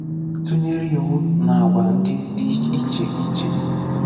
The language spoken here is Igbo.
Tụ̀nyerè iwù nà àgwà̀ ndị̀ dị̀ ichè ichè.